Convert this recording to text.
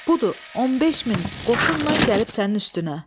Budur, 15 min qoşunla gəlib sənin üstünə.